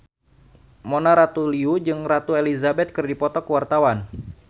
Mona Ratuliu jeung Ratu Elizabeth keur dipoto ku wartawan